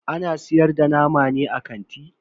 Ana siyar da nama ne a kanti?